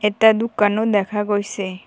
এটা দোকানো দেখা গৈছে।